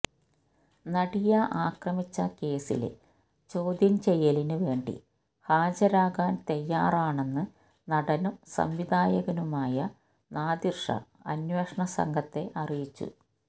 നടിയെ ആക്രമിച്ച കേസിലെ ചോദ്യം ചെയ്യലിന് വേണ്ടി ഹാജരാകാൻ തയാറാണെന്ന് നടനും സംവിധായകനുമായ നാദിർഷാ അന്വേഷണ സംഘത്തെ അറിയിച്ചു